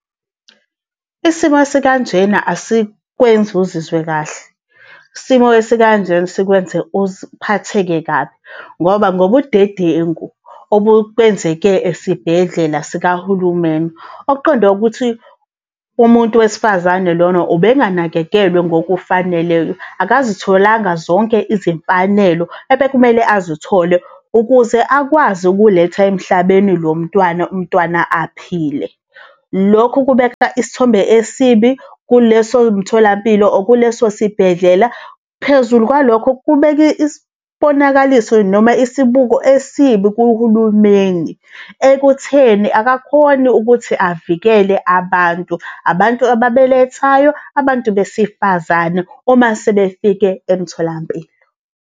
Isimo esikanjena asikwenzi uzizwe kahle. Isimo esikanjena sikwenza uphatheke kabi, ngoba ngobudedengu obukwenzeke esibhedlela sikahulumeni. Okuqonde ukuthi umuntu wesifazane lona ubenganakekelwe ngokufaneleyo, akazitholanga zonke izimfanelo ebekumele azithole ukuze akwazi ukuletha emhlabeni lo mntwana umntwana aphile. Lokhu kubeka isithombe esibi kuleso mtholampilo or kuleso sibhedlela, phezulu kwalokho kubeka isibonakaliso noma isibuko esibi kuhulumeni, ekutheni akakhoni ukuthi avikele abantu, abantu ababelethayo, abantu besifazane uma sebefike emtholampilo.